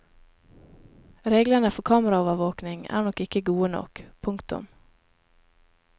Reglene for kameraovervåking er nok ikke gode nok. punktum